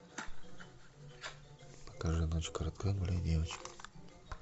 покажи ночь коротка гуляй девочка